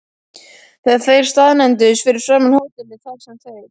Þegar þeir staðnæmdust fyrir framan hótelið, þar sem þeir